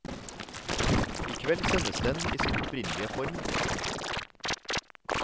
I kveld sendes den i sin opprinnelige form. punktum